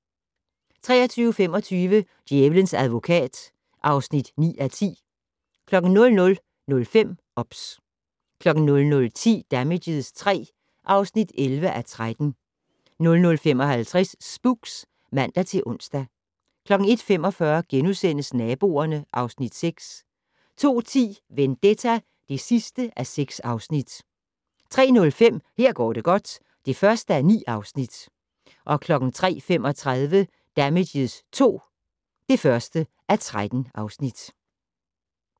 23:25: Djævelens advokat (9:10) 00:05: OBS 00:10: Damages III (11:13) 00:55: Spooks (man-ons) 01:45: Naboerne (Afs. 6)* 02:10: Vendetta (6:6) 03:05: Her går det godt (1:9) 03:35: Damages II (1:13)